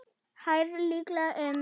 Hæð líklega um